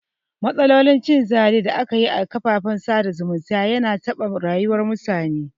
Matsalolin cin zali da aka yi a kafafen sada zumunta yana taɓa rayuwar mutane